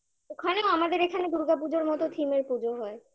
ওখানেও আমাদের এখানের দুর্গাপুজোর মতো theme -এর পুজো হয়